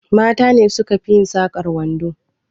Mata ne suka fi yin sakar kwando